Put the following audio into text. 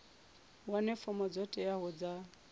wane fomo dzo teaho dza